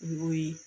U y'o ye